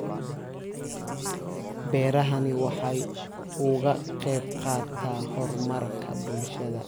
Beerahani waxa uu ka qayb qaataa horumarka bulshada.